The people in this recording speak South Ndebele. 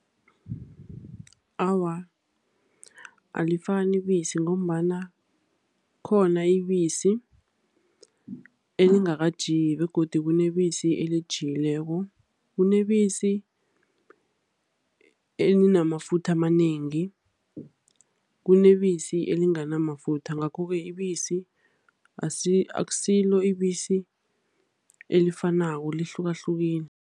Awa, alifani ibisi ngombana khona ibisi elingakajiki begodu kunebisi elijikileko. Kunebisi elinamafutha amanengi, kunebisi elinganamafutha, ngakhoke ibisi akusilo ibisi elifanako lihlukahlukile.